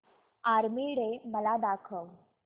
army day मला दाखव